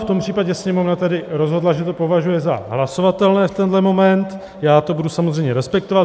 V tom případě Sněmovna tedy rozhodla, že to považuje za hlasovatelné v tento moment, já to budu samozřejmě respektovat.